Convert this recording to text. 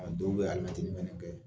A dɔw bɛ alimɛtinin fɛnɛ kɛ.